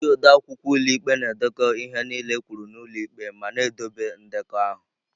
Ndị odeakwụkwọ ụlọ ikpe na-edekọ ihe niile ekwuru n'ụlọ ikpe ma na-edobe ndekọ ahụ.